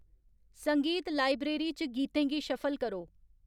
संगीत लाइब्रेरी च गीतें गी शफल करो